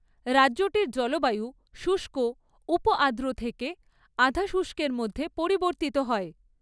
রাজ্যটির জলবায়ু শুষ্ক উপ আর্দ্র থেকে আধা শুষ্কের মধ্যে পরিবর্তিত হয়।